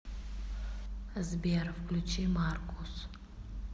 сбер включи маркус